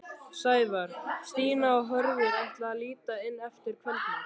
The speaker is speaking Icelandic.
Sævar, Stína og Hörður ætla að líta inn eftir kvöldmat.